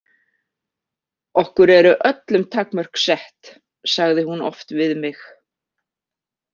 Okkur eru öllum takmörk sett, sagði hún oft við mig.